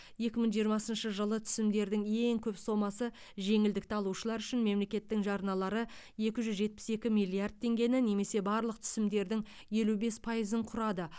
екі мың жиырмасыншы жылы түсімдердің ең көп сомасы жеңілдікті алушылар үшін мемлекеттің жарналары екі жүз жетпіс екі миллиард теңгені немесе барлық түсімдердің елу бес пайызын құрады